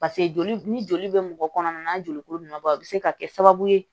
paseke joli ni joli be mɔgɔ kɔnɔna na joli ko nana bɔ a be se ka kɛ sababu ye